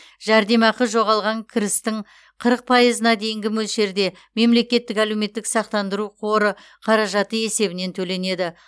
жәрдемақы жоғалған кірістің қырық пайызына дейінгі мөлшерде мемлекеттік әлеуметтік сақтандыру қоры қаражаты есебінен төленеді